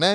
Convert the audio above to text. Ne?